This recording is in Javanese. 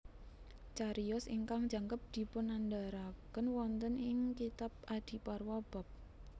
Cariyos ingkang jangkep dipunandharaken wonten ing kitab Adiparwa bab